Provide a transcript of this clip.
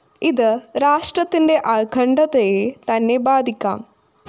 ഇത് രാഷ്ട്രത്തിന്റെ അഖണ്ഡതയെ തന്നെ ബാധിക്കാം